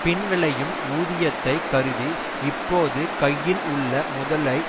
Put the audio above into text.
பின் விளையும் ஊதியத்தை கருதி இப்போது கையில் உள்ள முதலை